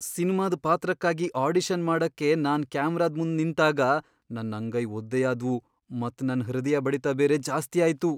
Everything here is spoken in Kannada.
ಸಿನ್ಮಾದ್ ಪಾತ್ರಕ್ಕಾಗಿ ಆಡಿಷನ್ ಮಾಡಕ್ಕೆ ನಾನ್ ಕ್ಯಾಮ್ರಾದ ಮುಂದ್ ನಿಂತಾಗ ನನ್ ಅಂಗೈ ಒದ್ದೆಯಾದ್ವು ಮತ್ ನನ್ ಹೃದಯ ಬಡಿತ ಬೇರೆ ಜಾಸ್ತಿ ಆಯ್ತು.